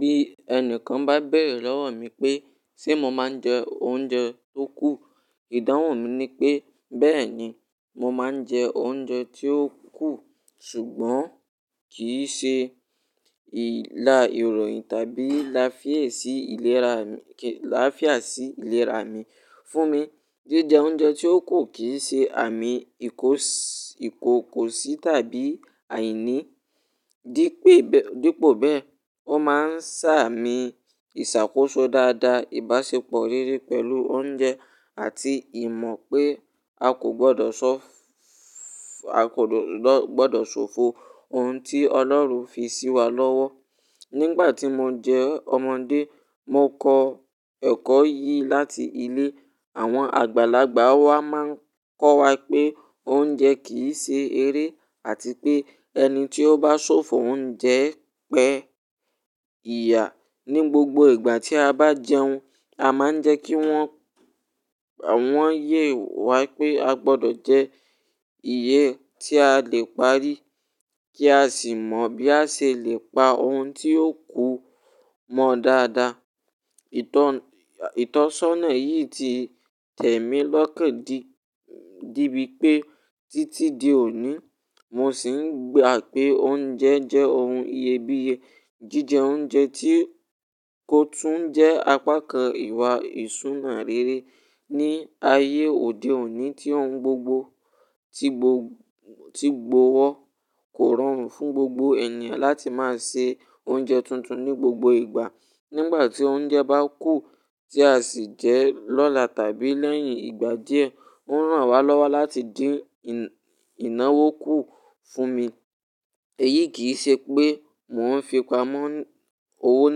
Bí ẹni kan bá béèrè lọ́wọ́ mi pé, "Ṣé mo máa ń jẹ oúnjẹ tó kù?" Ìdáhùn mi ni pé, "Bẹ́ẹ̀ ni, mo máa ń jẹ oúnjẹ tí ó kù, ṣùgbọ́n kì í ṣe ìla ìròyìn tàbí lafié sí ìlera mi-- kí-- lafiá sí ìlera mi. Fún mi, jíjẹ oúnjẹ tí ó kù kì í ṣe àmì ìkò-ìkòkò sí tàbí àìní. Dí pé-- dípò bẹ́ẹ̀, ó máa ń ṣààmì ìṣàkóso dáadáa, ìbáṣepọ̀ rere pẹ̀lú oúnjẹ àti ìmọ̀ pé a kò gbọdọ̀ ṣọ́-a kò gbọdọ̀ ṣòfò ohun tí Ọlọ́run fi sí wa lọ́wọ́. Nígbà tí mo jẹ́ ọmọdé, mo kọ ẹ́kọ́ yìí láti ilé. Àwọn àgbàlagbà wa máa ń kọ́ wa pé oúnjẹ kì í ṣe eré àti pé ẹni tí ó bá ṣòfò oúnjẹ pẹ́ ìyà. Ni gbogbo ìgbà tí a bá jẹun, a máa ń jẹ́ kí wọ́n-wọ́n yè wa pé a gbọdọ̀ jẹ iyè tí a lè parí kí a sì mọ bí a ṣe lè pa ohun tí ó kù mọ dáadáa. Itan-ìtọ́sọ́nà yìí ti tẹ̀mí lọ́kàn di-dibi pé títí di òní, mo sì ń gbà pé oúnjẹ jẹ́ ohun iyebíye. Jíjẹ oúnjẹ tí kò tún jẹ́ apá kan ìwà ìṣúná rere. Ni ayé òde òní tí ohun gbogbo ti gbọ-ti gbọwọ́, kò rọrùn fún gbogbo ènìyàn láti máa ṣe oúnjẹ tuntun ní gbogbo ìgbà. Nígbà tí oúnjẹ bá kù tí a sì jẹ lọ́la tàbí lẹ́yìn ìgbà díẹ̀, ó ń ràn wá lọ́wọ́ láti dín ìnáwó kù fún mi. Èyí kì í ṣe pé mò ń fi pamọ́ owó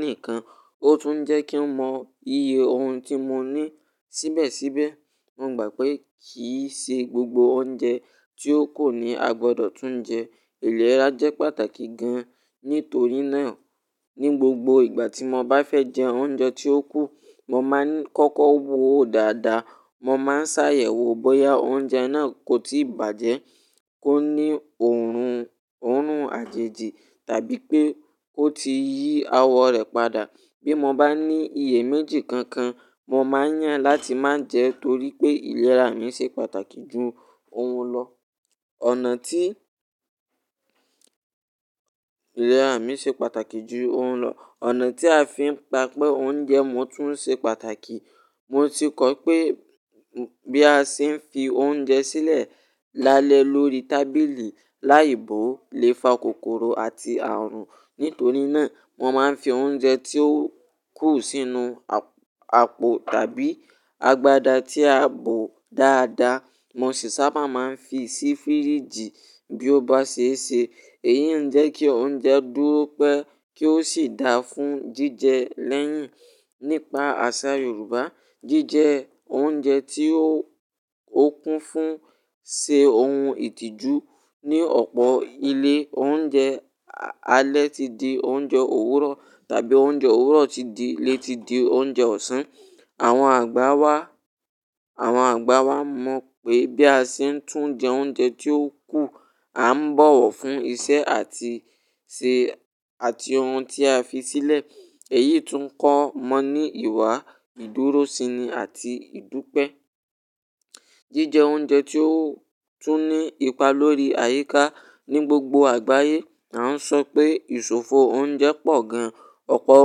nìkan, ó tún ń jẹ́ kí n mọ iye ohun tí mo ní. Síbẹ̀síbẹ̀, mo gbà pé kì í ṣe gbogbo oúnjẹ tí ó kù ni a gbọdọ̀ tún jẹ. Ìlera jẹ́ pàtàkì gan-an. Nítorí náà, ní gbogbo ìgbà tí mo bá fẹ́ jẹ oúnjẹ tí ó kù, mo máa ń kọ́kọ́ wòó dáadáa. Mo máa ń sá yẹ́ wo bóyá oúnjẹ náà kò tíì bàjẹ́, kò ní òórùn-òórùn àjèjì tàbí pé ó ti yí awọ rẹ̀ padà. Bí mo bá ní iye méjì kankan, mo máa yàn láti máa jẹ nítorí pé ìlera mi ṣe pàtàkì ju ohun lọ. Ọ̀nà tí ìlera mi ṣe pàtàkì ju ohun lọ. Ọ̀nà tí a fi ń pa pé oúnjẹ mú tún ṣe pàtàkì. Mo ti kọ́ pé bí a ṣe ń fi oúnjẹ sílẹ̀ lálẹ́ lórí tábìlì, láì bo lè fa kòkòrò àti àrùn. Nítorí náà, mo máa ń fi oúnjẹ tí ó kù sínú àp-àpò tàbí agbada tí a bò dáadáa. Mo sì sábà máa ń fi sí fíríjì bí ó bá ṣe é ṣe. Èyí ń jẹ́ kí oúnjẹ dúró pẹ́ kí ó sì dáa fún jíjẹ lẹ́yìn. Nípa àṣà Yorùbá, jíjẹ oúnjẹ tí ó kún fún ṣe ohun ìtìjú. Ni ọ̀pọ̀ ilé oúnjẹ, alẹ́ ti di oúnjẹ òwúrọ̀ tàbí oúnjẹ òwúrọ̀ ti di-- le ti di oúnjẹ ọ̀sán. Àwọn àgbà wa, àwọn àgbà wa mọ̀ pé bí a ṣe ń tún jẹ oúnjẹ tí ó kù, a ń bọ̀wọ̀ fún iṣẹ́ àti ṣe-- àti ohun tí a fi sílẹ̀. Èyí tún ń kọ́ wọn ní ìwà ìdúróṣini àti ìdúpẹ́. Jíjẹ oúnjẹ tí ó tún ní ipa lórí àyíká. Ni gbogbo àgbáyé, a ń sọ pé ìṣòfò oúnjẹ pọ̀ gan. Ọ̀pọ̀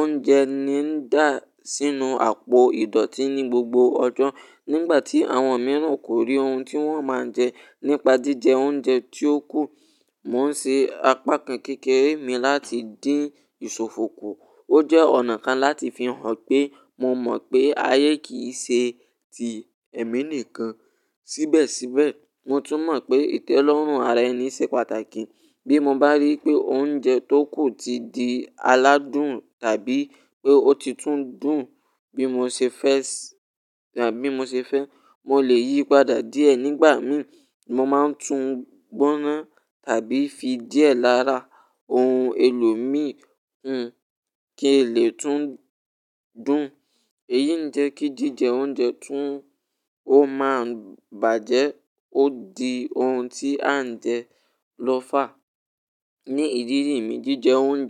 oúnjẹ ni ń dà sínú àpò ìdọ̀tí ní gbogbo ọjọ́. Nígbà tí àwọn mìíràn kò rí ohun tí wọ́n máa ń jẹ. Nípa jíjẹ oúnjẹ tí ó kù, mò ń ṣe apá kan kékeré mi láti dín ìṣòfò kù. Ó jẹ́ ọ̀nà kan láti fi hàn pé mo mọ̀ pé ayé kì í ṣe ti èmi nìkan. Síbẹ̀síbẹ̀, mo tún mọ̀ pé ìtẹ́lọ́rùn ara ẹni ṣe pàtàkì. Bí mo bá rí i pé oúnjẹ tó kù ti di aládùn tàbí pé ó ti tún dùn bí mo ṣe fẹ́ tàbí mo ṣe fẹ́, mo lè yí padà díẹ̀ nígbà mìí. Mo máa ń tún gbóná tàbí fi díẹ̀ lára ohun èlò mìì hun kí n lè tún dùn. Èyí ń jẹ́ kí jíjẹ oúnjẹ tún ó máa ń bàjẹ́ ó di ohun tí à ń jẹ lọ́fà. Ni ìrírí mi, jíjẹ oúnjẹ.